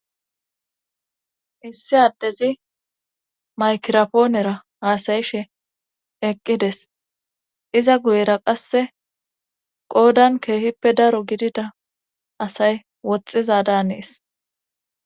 issi addezi maykirapoonera haasayishe eqqides iza guyera qasse qoodan keehippe daro gidida asay woxxiza daanees